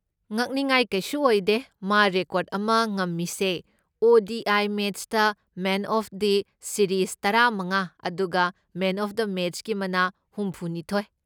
ꯉꯛꯅꯤꯉꯥꯏ ꯀꯩꯁꯨ ꯑꯣꯏꯗꯦ ꯃꯥ ꯔꯦꯀꯣꯔꯗ ꯑꯃ ꯉꯝꯃꯤꯁꯦ, ꯑꯣ.ꯗꯤ.ꯑꯥꯏ. ꯃꯦꯆꯇ ꯃꯦꯟ ꯑꯣꯐ ꯗ ꯁꯤꯔꯤꯁ ꯇꯔꯥꯃꯉꯥ ꯑꯗꯨꯒ ꯃꯦꯟ ꯑꯣꯐ ꯗ ꯃꯦꯆꯀꯤ ꯃꯅꯥ ꯍꯨꯝꯐꯨꯅꯤꯊꯣꯢ꯫